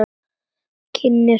Kyngir og kyngir.